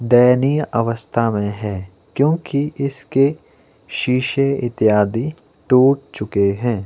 दयनीय अवस्था में है क्योंकि इसके शीशे इत्यादि टूट चुके हैं।